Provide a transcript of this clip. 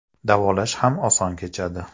Davolash ham oson kechadi.